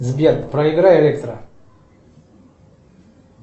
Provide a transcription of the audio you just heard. сбер проиграй электро